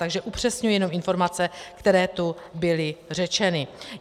Takže upřesňuji jenom informace, které tu byly řečeny.